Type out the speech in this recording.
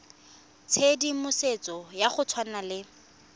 tshedimosetso ya go tshwana le